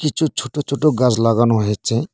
কিছু ছোট ছোট গাস লাগানো হয়েচে।